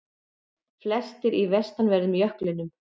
Flestir í vestanverðum jöklinum